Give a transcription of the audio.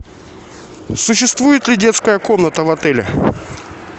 существует ли детская комната в отеле